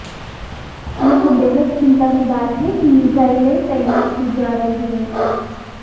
यह बेहद चिंता की बात है कि मिजाइलें तैनात की जा रही हैं